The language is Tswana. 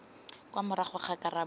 kwa morago ga karabo ya